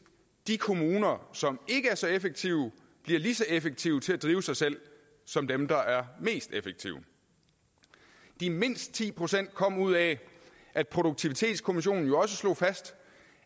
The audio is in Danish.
de kommuner som ikke er så effektive bliver lige så effektive til at drive sig selv som dem der er mest effektive de mindst ti procent kom ud af at produktivitetskommissionen jo også slog fast